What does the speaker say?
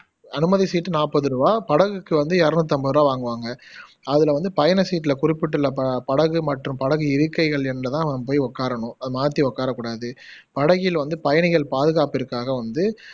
அனுமதி சீட்டு நாப்பதுரூவா படகுக்கு வந்து எரநூத்தி அம்பதுரூவா வாங்குவாங்க அதுல வந்து பயணச்சீட்டுல குறிப்பிட்டுள்ள ப படகு மற்றும் படகு இருக்கைகள் எண்ல தான் நம்ம போய் உக்காரணும் மாத்தி உக்கார கூடாது படகில் வந்து பயணிகள் பாதுகாப்பிற்காக வந்து